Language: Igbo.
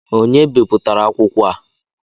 Onye bipụtara akwụkwọ a?